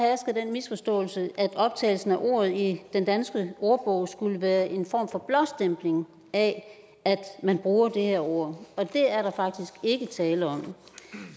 misforståelse at optagelsen af ordet i den danske ordbog skulle være en form for blåstempling af at man bruger det her ord og det er der faktisk ikke tale om